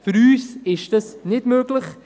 Für uns ist dies nicht möglich.